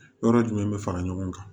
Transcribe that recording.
Yɔrɔ jumɛn be fara ɲɔgɔn kan